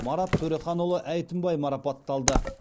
марат төреханұлы әйтімбай марапатталды